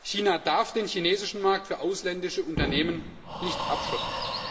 China darf den chinesischen Markt für ausländische Unternehmen nicht abschotten.